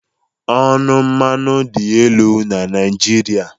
Ọnụ mmanụ dị elu na Naịjirịa